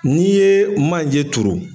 Ni ye manje turu